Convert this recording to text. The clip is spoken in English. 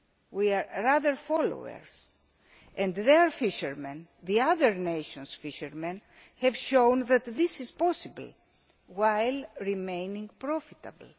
We are the followers rather, and their fishermen, the other nations' fishermen, have shown that this is possible, while remaining profitable.